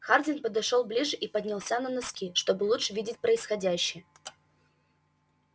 хардин подошёл ближе и поднялся на носки чтобы лучше видеть происходящее